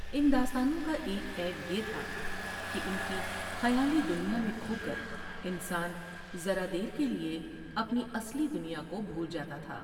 ان داستانوں کا ایک عیب یہ تھا کہ ان کی خیالی دنیا میں کھو کر انسان ذرا دیر کے لیے اپنی اصلی دنیا کو بھول جاتا تھا ۔